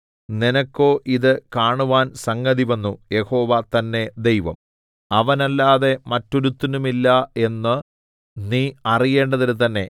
നിനക്കോ ഇതു കാണുവാൻ സംഗതിവന്നു യഹോവ തന്നെ ദൈവം അവനല്ലാതെ മറ്റൊരുത്തനുമില്ല എന്ന് നീ അറിയേണ്ടതിന് തന്നെ